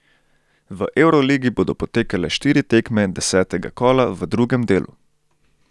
V evroligi bodo potekale štiri tekme desetega kola v drugem delu.